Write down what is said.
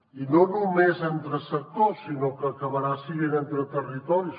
i no només entre sectors sinó que acabarà seguint entre territoris